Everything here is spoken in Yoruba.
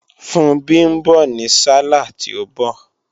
Funbí ń bọ̀ ní sálàh tí ń bọ̀